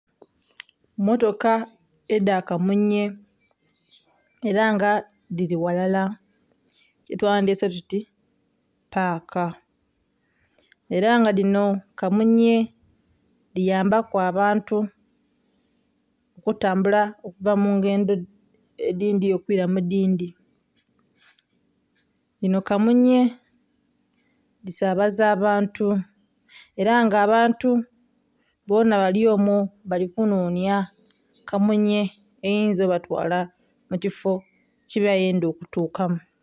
Mmotoka edha kamunye ela nga dhili ghalala kyetwandhiyese tuti paaka ela nga dhino kamunye dhiyambaku abantu okutambula okuva mu ngendho edindhi okwira mu dindhi. Dhino kamunye dhisabaza abantu era nga abantu bonha bali omwo bali kunhonhya kamunye eyinza okubatwala mu kifo kye bayendha okutukamu.